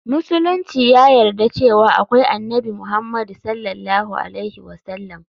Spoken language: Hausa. Musulunci ya yarda cewa akwai Annabi Muhammadu S.A.W.